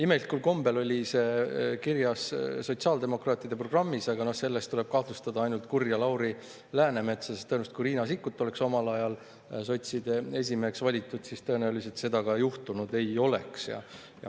Imelikul kombel oli see kirjas sotsiaaldemokraatide programmis, aga selles võib kahtlustada ainult kurja Lauri Läänemetsa, sest kui Riina Sikkut oleks omal ajal sotside esimeheks valitud, siis tõenäoliselt seda juhtunud ei oleks.